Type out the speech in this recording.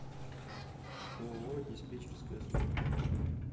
ооо диспетчеркая служба